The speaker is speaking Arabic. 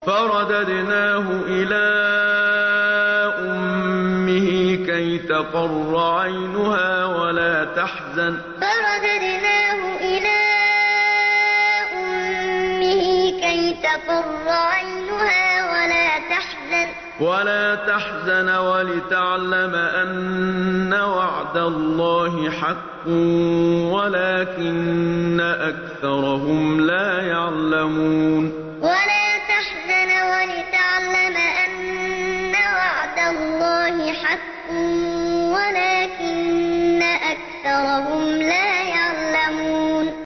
فَرَدَدْنَاهُ إِلَىٰ أُمِّهِ كَيْ تَقَرَّ عَيْنُهَا وَلَا تَحْزَنَ وَلِتَعْلَمَ أَنَّ وَعْدَ اللَّهِ حَقٌّ وَلَٰكِنَّ أَكْثَرَهُمْ لَا يَعْلَمُونَ فَرَدَدْنَاهُ إِلَىٰ أُمِّهِ كَيْ تَقَرَّ عَيْنُهَا وَلَا تَحْزَنَ وَلِتَعْلَمَ أَنَّ وَعْدَ اللَّهِ حَقٌّ وَلَٰكِنَّ أَكْثَرَهُمْ لَا يَعْلَمُونَ